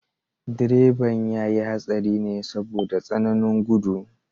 Direban ya yi hatsari ne saboda tsananin gudu.